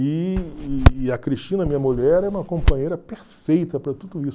E e a Cristina, minha mulher, é uma companheira perfeita para tudo isso.